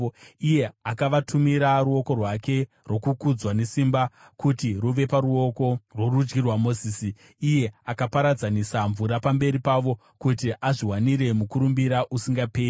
iye akavatumira ruoko rwake rwokukudzwa nesimba kuti ruve paruoko rworudyi rwaMozisi, iye akaparadzanisa mvura pamberi pavo, kuti azviwanire mukurumbira usingaperi,